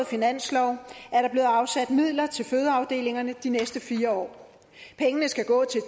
finanslov er der blevet afsat midler til fødeafdelingerne de næste fire år pengene skal gå til